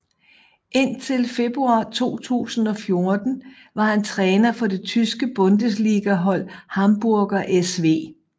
Indtil februar 2014 var han træner for det tyske Bundesliga hold Hamburger SV